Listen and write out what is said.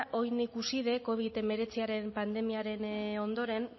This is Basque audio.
orain ikusita covid hemeretziaren pandemiaren ondoren